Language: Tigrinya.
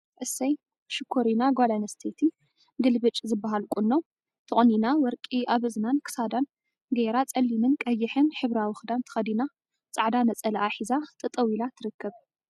እሰይ ሽኮሪና ጓል አንስተይቲ ግልብጭ ዝበሃል ቁኖ ተቆኒና ወርቂ አብ እዝናን ክሳዳን ገይራ ፀሊምን ቀይሕን ሕብራዊ ክዳን ተከዲና ፃዕዳ ነፀልአ ሒዛ ጠጠው ኢላ ትርከብ፡፡